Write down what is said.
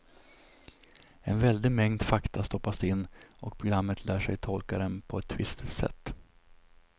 En väldig mängd fakta stoppas in och programmet lär sig att tolka dem på ett visst sätt.